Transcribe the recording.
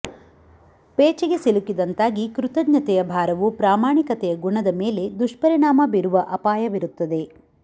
ಪೇಚಿಗೆ ಸಿಲುಕಿದಂತಾಗಿ ಕೃತಜ್ಞತೆಯ ಭಾರವು ಪ್ರಾಮಾಣಿಕತೆಯ ಗುಣದ ಮೇಲೆ ದುಷ್ಪರಿಣಾಮ ಬೀರುವ ಅಪಾಯವಿರುತ್ತದೆ